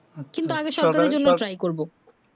কিংবা আমি সরকারের জন্য apply করবো